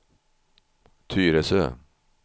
Tyresö